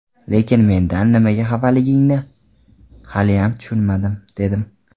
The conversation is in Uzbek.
Lekin mendan nimaga xafaligingni haliyam tushunmadim, dedim.